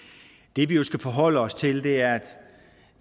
det vi jo skal forholde os til er at